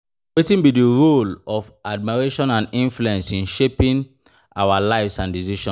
Wetin be di role of admiration and influence in shaping our lives and decisions?